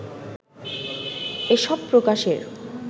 এসব প্রকাশের